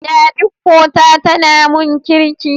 Yadiko ta tana mun Kirki.